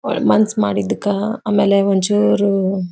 ಅವರ ಮನಸ್ ಮಾಡಿದಕ್ಕ ಆಮೇಲೆ ಒಂದ್ ಚೂರು.--